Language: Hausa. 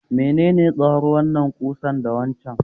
menene tsawon wannan ƙusar da waccan?